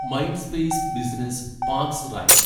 Mindspace business parks right